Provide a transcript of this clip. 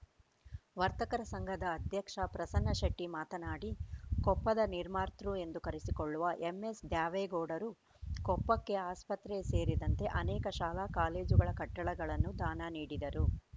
ವರ್ತಕರ ಸಂಘದ ಅಧ್ಯಕ್ಷ ಪ್ರಸನ್ನ ಶೆಟ್ಟಿ ಮಾತನಾಡಿ ಕೊಪ್ಪದ ನಿರ್ಮಾತೃ ಎಂದು ಕರೆಸಿಕೊಳ್ಳುವ ಎಂಎಸ್‌ ದ್ಯಾವೇಗೌಡರು ಕೊಪ್ಪಕ್ಕೆ ಆಸ್ಪತ್ರೆ ಸೇರಿದಂತೆ ಅನೇಕ ಶಾಲಾ ಕಾಲೇಜುಗಳ ಕಟ್ಟಡಗಳನ್ನು ದಾನ ನೀಡಿದರು